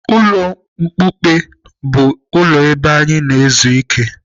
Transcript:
Ulo mkpuke bụ ụlọ ebe a na-anọ ezu ike.